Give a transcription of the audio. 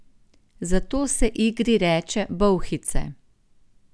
Zato se igri reče bolhice.